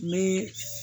Me